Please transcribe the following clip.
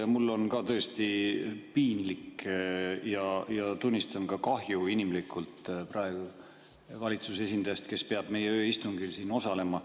Ja mul on ka tõesti piinlik ja tunnistan, et inimlikult kahju praegu valitsuse esindajast, kes peab meie ööistungil osalema.